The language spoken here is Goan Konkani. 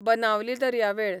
बनावली दर्यावेळ